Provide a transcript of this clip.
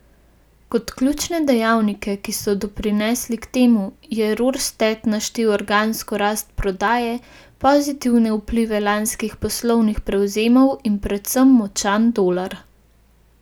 Kot ključne dejavnike, ki so doprinesli k temu, je Rorsted naštel organsko rast prodaje, pozitivne vplive lanskih poslovnih prevzemov in predvsem močan dolar.